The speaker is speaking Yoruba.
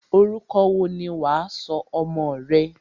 Orúkọ wo ni wà á sọ ọmọ rẹ?